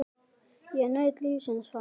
Ég naut lífsins þar.